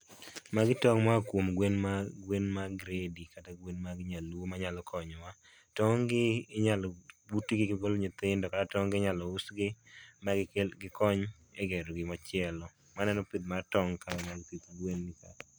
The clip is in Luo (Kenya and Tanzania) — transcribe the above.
Magi tong' moa kuom gwen ma, gwen mag gredi kata gwen mag nyaluo manyalo konyo wa. Tong' gi inyalo butgi gigol nyithindo kata tong' gi inyalo usgi magikel, gikony e gero gimachielo. Aneno pith mar tong' kanyo, pith gwen ni kaa